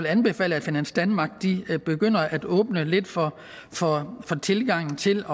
anbefale at finans danmark begynder at åbne lidt for tilgangen til